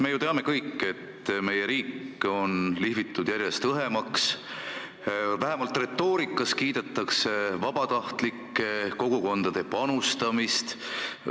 Me teame kõik, et meie riik on lihvitud järjest õhemaks, vähemalt retoorikas kiidetakse kogukondade vabatahtlikku panustamist.